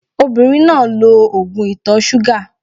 Obìnrin náà lo ògùn ìtọ̀-súgà